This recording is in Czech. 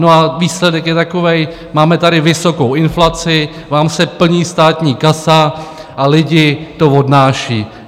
No a výsledek je takový: Máme tady vysokou inflaci, vám se plní státní kasa a lidi to odnáší.